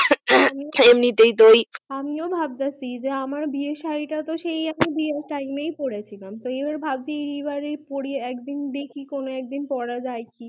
এমনি তা ওই আমি ও ভাবতাছি যে আমের বিয়ে সারি তা তো সেই বিয়ে টাইম এ পড়েছিলাম ভাবছিলাম এই পড়ি একদিন দেখি কনো একদিন পড়া যাই কি